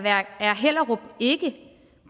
hellerup ikke